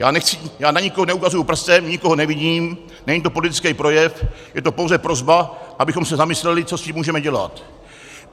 Já na nikoho neukazuji prstem, nikoho neviním, není to politický projev, je to pouze prosba, abychom se zamysleli, co s tím můžeme dělat.